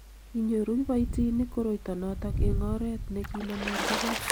kinyoru kiboitinik koroito noto eng oret ne kinomoti gei